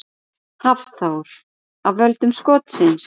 Hafþór: Af völdum skotsins?